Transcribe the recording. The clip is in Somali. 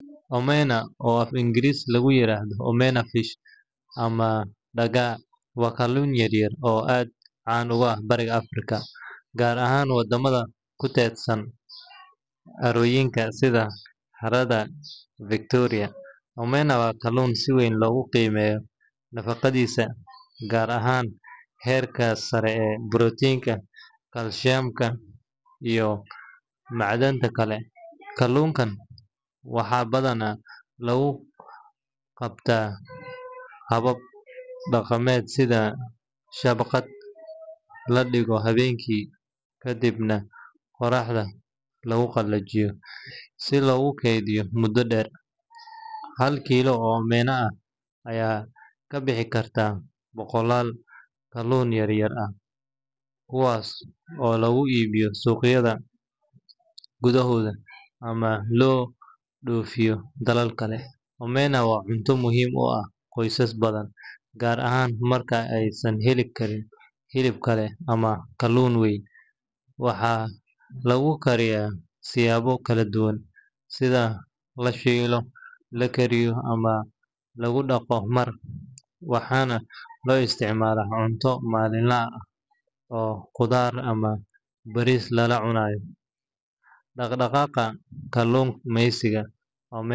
Omena, oo af-Ingiriisi lagu yiraahdo omena fish ama dagaa, waa kalluun yar yar oo aad caan uga ah bariga Afrika, gaar ahaan wadamada ku teedsan harooyinka sida Harada Victoria. Omena waa kalluun si weyn loogu qiimeeyo nafaqadiisa, gaar ahaan heerka sare ee borotiinka, kalsiyamka, iyo macdanta kale. Kalluunkan waxaa badanaa lagu dabtaa habab dhaqameed sida shabakad la dhigto habeenkii, kadibna qorraxda lagu qalajiyo si loogu keydiyo muddo dheer. Hal kiilo oo omena ah ayaa ka bixi karta boqollaal kalluun yar yar ah, kuwaas oo lagu iibiyo suuqyada gudaha ama loo dhoofiyo dalal kale. Omena waa cunto muhiim u ah qoysas badan, gaar ahaan marka aysan heli karin hilib kale ama kalluun weyn. Waxaa lagu kariyaa siyaabo kala duwan sida la shiilo, la kariyo ama lagu daro maraq, waxaana loo isticmaalaa cunto maalinle ah oo qudaar ama bariis lala cunayo. Dhaqdhaqaaqa kalluumaysiga omena.